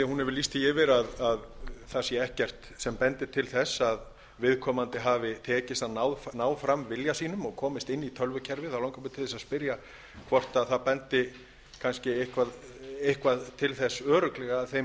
lýst því yfir að það sé ekkert sem bendir til þess að viðkomandi hafi tekist að ná fram vilja sínum og komist inn í tölvukerfið hvort það bendi kannski eitthvað til þess örugglega að þeim